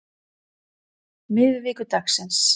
miðvikudagsins